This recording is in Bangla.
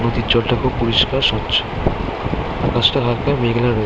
নদীর জলটা খুব পরিষ্কার স্বচ্ছ আকাশটা হালকা মেঘলা রয়েছে।